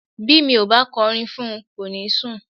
Bí mi ò bá kọrin fún un, kò ní sùn.